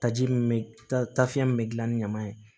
Taji min bɛ ta fiɲɛ min bɛ dilan ni ɲaman ye